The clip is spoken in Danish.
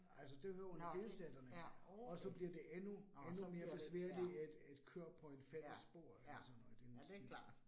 Altså det hører under delstaterne, og så bliver det endnu endnu mere besværligt at at køre på en fælles spor eller sådan noget i den stil